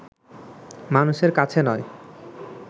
মানুষের কাছে নয়